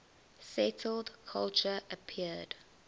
settled culture appeared